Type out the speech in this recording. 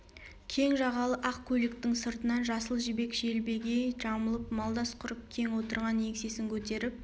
кең жағалы ақ көйлектің сыртынан жасыл жібек желбегей жамылып малдас құрып кең отырған еңсесін көтеріп